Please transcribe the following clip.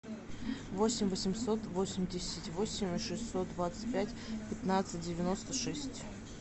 восемь восемьсот восемьдесят восемь шестьсот двадцать пять пятнадцать девяносто шесть